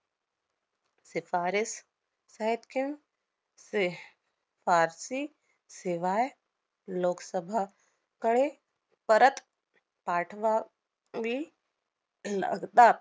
शिफारिस फारसी शिवाय लोकसभा कळे परत पाठवा~ वी लागतात.